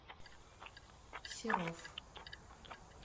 серов